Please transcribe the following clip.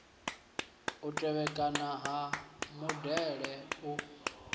u tevhekana ha modele u